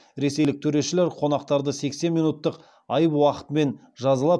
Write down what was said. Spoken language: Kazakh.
ресейлік төрешілер қонақтарды сексен минуттық айып уақытымен жазалап